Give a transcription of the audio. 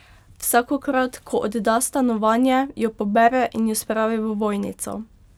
Vsakokrat, ko odda stanovanje, jo pobere in jo spravi v ovojnico.